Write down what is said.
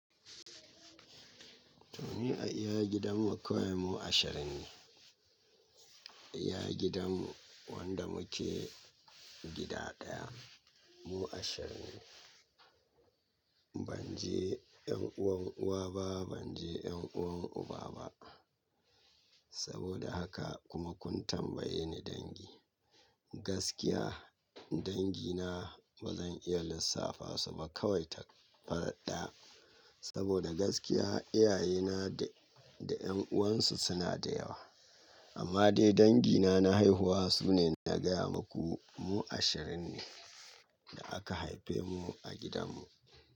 To, ni a iyayen gidanmu kawai mu ashirin ne. A gidanmu wanda muke gida ɗaya mu ashirin ne. Ban ji 'yan uwan uwa ba, ban ji 'yan uwan uba ba. Saboda haka kuma kun tambaye ni dangi. Gaskiya dangina ba zan iya lissafa su ba kawai takaita farat ɗaya saboda gaskiya iyayena da, da 'yan uwansu suna da yawa. Amma dai dangina na haihuwa su ne na gaya muku mu ashirin ne da aka haife mu a gidanmu.